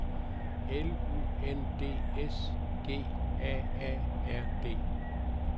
L U N D S G A A R D